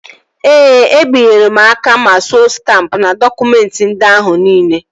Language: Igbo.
Ee, e binyela m aka ma suo stampụ n'dọkụmentị ndị ahụ niile